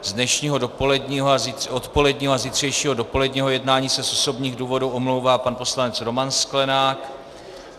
Z dnešního odpoledního a zítřejšího dopoledního jednání se z osobních důvodů omlouvá pan poslanec Roman Sklenák.